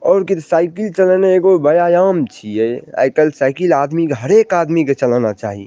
और किद साइकिल चलेने एगो वयायाम चीये आय कल साइकिल आदमी क हर एक आदमी क चलाना चाही।